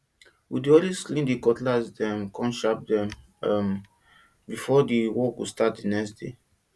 we dey always dey clean di cutlass dem come sharp am um before work go start di next day